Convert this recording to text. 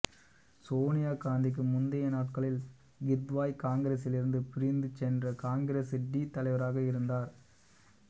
சோனியா காந்திக்கு முந்தைய நாட்களில் கித்வாய் காங்கிரசிலிருந்து பிரிந்து சென்ற காங்கிரசு டி தலைவராக இருந்தார்